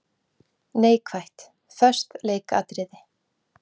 Neikvætt:- Föst leikatriði.